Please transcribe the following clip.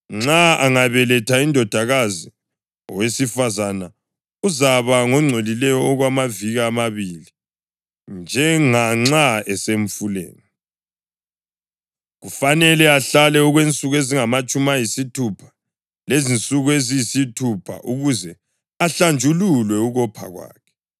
Nxa angabeletha indodakazi, owesifazane uzaba ngongcolileyo okwamaviki amabili, njenganxa esemfuleni. Kufanele ahlale okwensuku ezingamatshumi ayisithupha lezinsuku eziyisithupha ukuze ahlanjululwe ukopha kwakhe.